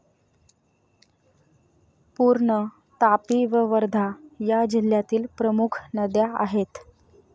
पूर्ण, तापी व वर्धा या जिल्ह्यातील प्रमुख नद्या आहेत.